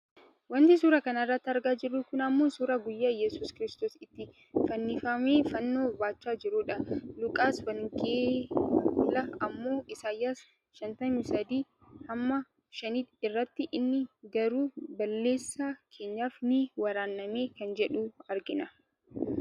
Wanti suuraa kanarratti argaa jirru kun ammoo suuraa guyyaa iyyeesus kiristoos itti fanjifamuuf fannoo baachaa jirudha. Luqqisiin wangeesaal ammoo Isaayas 53:5 irratti inni garuu balleessaa keenyaaf ni waraanname kan jedhu argina.